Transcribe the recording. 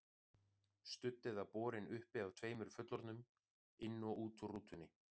Studd eða borin uppi af tveimur fullorðnum, inn og út úr rútunni.